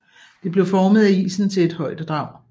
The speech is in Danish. Det blev formet af isen til ét højdedrag